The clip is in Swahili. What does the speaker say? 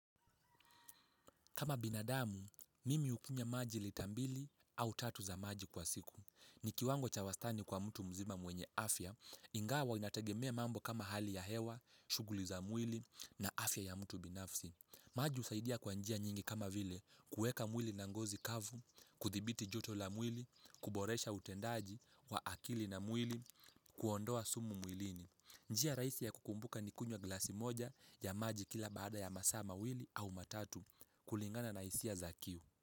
Kama binadamu, mimi hukunywa maji lita mbili au tatu za maji kwa siku. Ni kiwango cha wastani kwa mtu mzima mwenye afya, ingawa inategemea mambo kama hali ya hewa, shughuli za mwili na afya ya mtu binafsi. Maji husaidia kwa njia nyingi kama vile, kuweka mwili na ngozi kavu, kuthibiti joto la mwili, kuboresha utendaji wa akili na mwili, kuondoa sumu mwilini. Njia rahisi ya kukumbuka ni kunywa glasi moja ya maji kila baada ya masaa mawili au matatu kulingana na hisia za kiu.